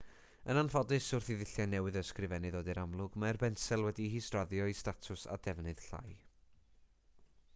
yn anffodus wrth i ddulliau newydd o ysgrifennu ddod i'r amlwg mae'r bensel wedi'i hisraddio i statws a defnydd llai